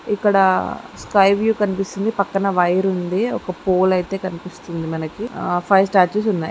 ఇక్కడ sky blue కనిపిస్తుంది పక్కన వైర్ ఉందిఒక పోల్ అయితే కనిపిస్తుంది మనకి ఆ ఫైవ్ స్టాచ్యూ స్ ఉన్నాయి.